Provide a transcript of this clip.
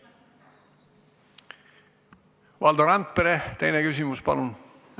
Valdo Randpere, teine küsimus, palun!